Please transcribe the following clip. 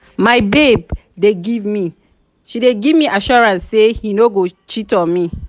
my babe dey give me me assurance say he no go cheat on me.